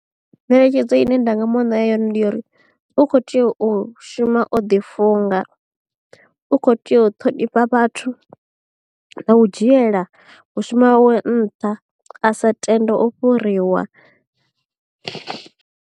Ngeletshedzo ine nda nga muṋea yone ndi ya uri u kho tea u shuma o ḓi funga u kho tea u ṱhonifha vhathu na u dzhiela u shuma hawe nṱha a sa tende u fhuriwa.